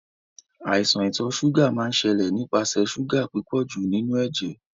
Àìsan ìtò sugar máa n sẹ́lẹ̀ nípasẹ̀ sugar pípọ̀jù nínú éjé